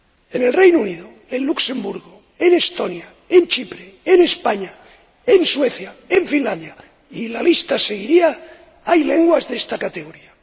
En el Reino Unido, en Luxemburgo, en Estonia, en Chipre, en España, en Suecia, en Finlandia y la lista seguiría hay lenguas de esta categoría.